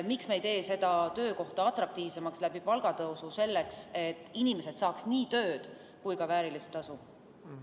Miks me ei tee seda töökohta palgatõusu abil atraktiivsemaks, selleks et inimesed saaks nii tööd kui ka väärilist tasu?